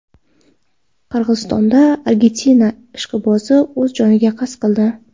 Qirg‘izistonda Argentina ishqibozi o‘z joniga qasd qildi.